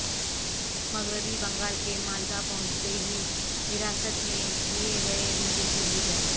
مغربی بنگال کے مالدہ پہنچتے ہی حراست میں لئے گئے بی جے پی لیڈر